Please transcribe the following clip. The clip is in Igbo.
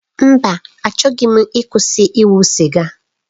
Mba! Achọghị m ịkwụsị ise siga.